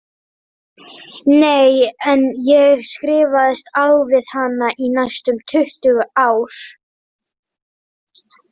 Nei, en ég skrifaðist á við hana í næstum tuttugu ár.